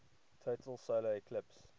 total solar eclipse